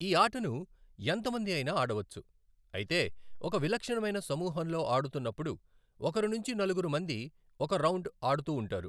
ఈ ఆటను ఎంతమంది అయినా ఆడవచ్చు, అయితే ఒక విలక్షణమైన సమూహంలో ఆడుతున్నపుడు, ఒకరు నుంచి నలుగురు మంది ఒక రౌండ్ అడుతూవుంటారు .